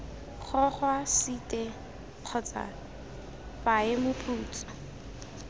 gogwa site kgotsa paye moputso